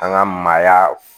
An ka maaya